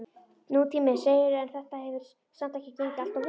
Nútíminn, segirðu, en þetta hefur samt ekki gengið alltof vel?